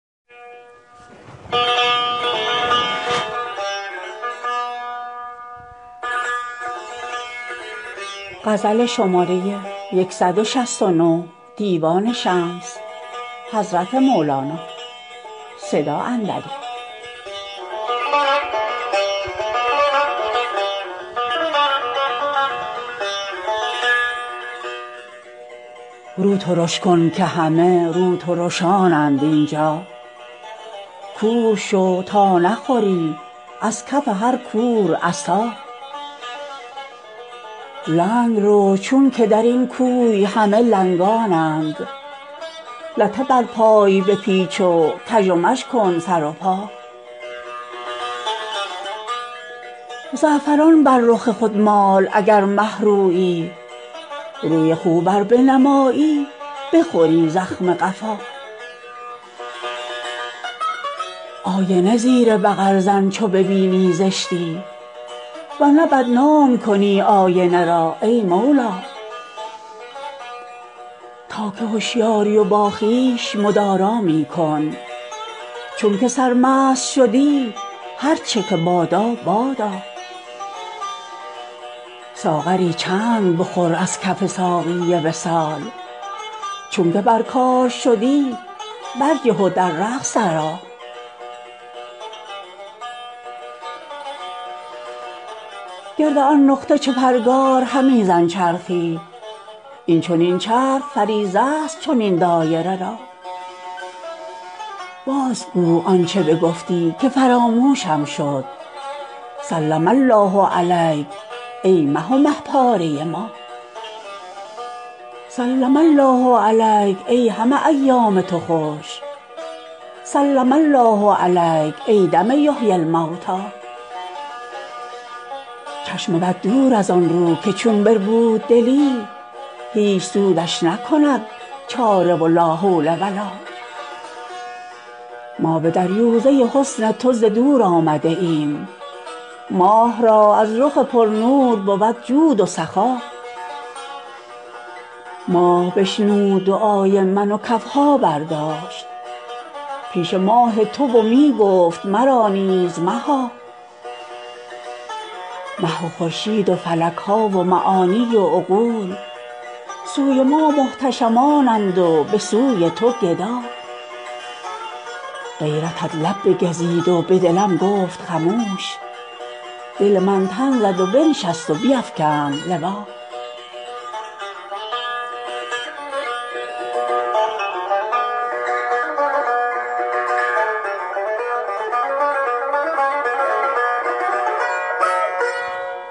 رو ترش کن که همه روترشانند این جا کور شو تا نخوری از کف هر کور عصا لنگ رو چونک در این کوی همه لنگانند لته بر پای بپیچ و کژ و مژ کن سر و پا زعفران بر رخ خود مال اگر مه رویی روی خوب ار بنمایی بخوری زخم قفا آینه زیر بغل زن چو ببینی زشتی ور نه بدنام کنی آینه را ای مولا تا که هشیاری و با خویش مدارا می کن چونک سرمست شدی هر چه که بادا بادا ساغری چند بخور از کف ساقی وصال چونک بر کار شدی برجه و در رقص درآ گرد آن نقطه چو پرگار همی زن چرخی این چنین چرخ فریضه ست چنین دایره را بازگو آنچ بگفتی که فراموشم شد سلم الله علیک ای مه و مه پاره ما سلم الله علیک ای همه ایام تو خوش سلم الله علیک ای دم یحیی الموتی چشم بد دور از آن رو که چو بربود دلی هیچ سودش نکند چاره و لا حول و لا ما به دریوزه حسن تو ز دور آمده ایم ماه را از رخ پرنور بود جود و سخا ماه بشنود دعای من و کف ها برداشت پیش ماه تو و می گفت مرا نیز مها مه و خورشید و فلک ها و معانی و عقول سوی ما محتشمانند و به سوی تو گدا غیرتت لب بگزید و به دلم گفت خموش دل من تن زد و بنشست و بیفکند لوا